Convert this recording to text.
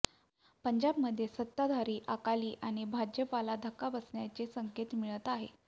पंजाबमध्ये सत्ताधारी अकाली आणि भाजपला धक्का बसण्याचे संकेत मिळत आहेत